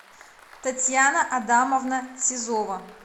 татьяна адамовна сизова